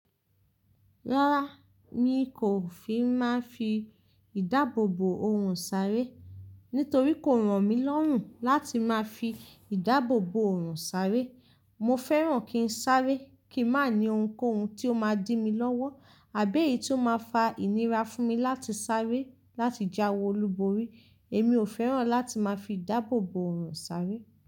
Rárá, mi kò fi máa ń fi ìdáàbòbò òórùn sáré, nítorí kò ràn mí lọ́rùn láti máa fi ìdáàbòbò òórùn sáré. Mo fẹ́ràn kí n sáré, kí n má ní ohunkóhun ti ó máa dí mi lọ́wọ́ àbí èyí tí ó máa fa ìnira fún mi láti sáré láti jáwe olúborí, èmi ò fẹ́ràn láti máa fi ìdáàbòbò òórùn sáré.